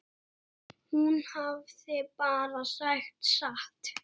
Hún hafði bara sagt satt.